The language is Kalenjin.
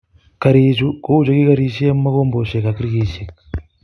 Garichu kou chekikorisie, mogombesiek ak rekisiek